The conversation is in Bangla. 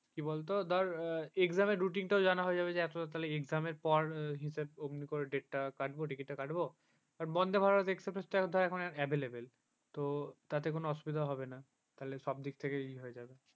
কি বলত ধর exam routine টাও বোঝানো হয়ে যাবে তবে exam র পর ওমনি এমনি করে date কাটবো ticket টা কাটবো আর বন্দে ভারত express তো এখন available তো তাতে কোন অসুবিধা হবে না তাহলে সব দিক থেকে ই হয়ে যাবে